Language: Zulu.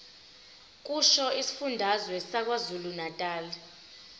kusho isifundazwe sakwazulunatali